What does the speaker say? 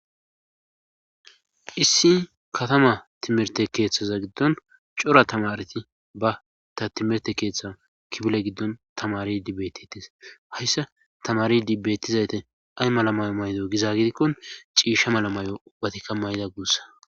issi katama timirte keeththaza giddon cora tamareti ba ta timerte keeththa kibile giddon tamari dibetitis hayssa tamari dibbettizayte ay malamayo maydo gizagidikkon ciisha malamayo ubbatikka mayda guussa